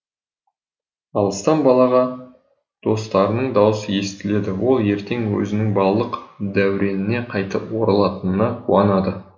алыстан балаға достарының даусы естіледі ол ертең өзінің балалық дәуреніне қайтып оралатынына қуанады